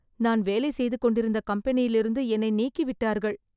நான் வேலை செய்து கொண்டிருந்த கம்பெனியிலிருந்து என்னை நீக்கி விட்டார்கள்